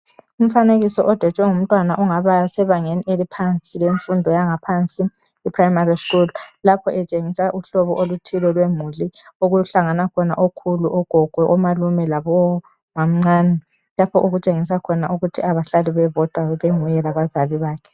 Umfanekiso odwetshwe ngumntwana ongaba sebangeni eliphansi lemfundo yangaphansi i"primary school " lapho etshengisa uhlobo oluthile lwemuli okuhlangana khona okhulu, ogogo, omalume labomàmncane lapho okutshengisa khona ukuthi abahlali bebodwa benguye labazali bakhe.